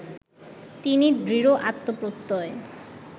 তিনি দৃঢ় আত্মপ্রত্যয়